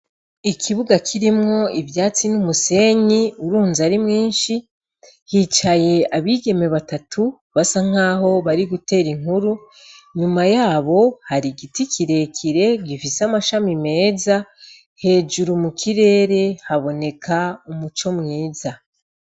Ikibuga kirimwo ivyatsi n'umusenyi, urunze ari mwinshi, hicaye abigeme batatu, basa nk'aho bari gutera inkuru, inyuma yabo hari igiti kirekire, gifise amashami meza, hejuru mu kirere haboneka umuco mwiza.